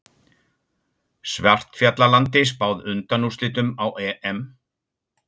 Svartfjallalandi spáð undanúrslitum á EM